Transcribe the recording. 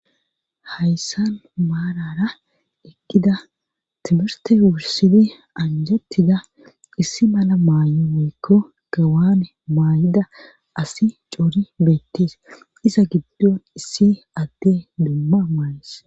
Hayssan maarara ekkida timirte wursidi anjettida issi mala maay7o woykko gawane maay7ida asi coori beettees ŕ giddon issi adde dumma maayis.